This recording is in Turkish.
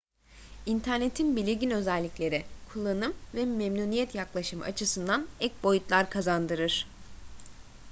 i̇nternetin belirgin özellikleri kullanım ve memnuniyet yaklaşımı açısından ek boyutlar kazandırır